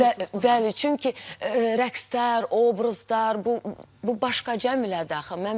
Bəli, çünki rəqslər, obrazlar, bu başqacəmülədir axı.